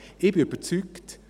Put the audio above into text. Ich bin überzeugt: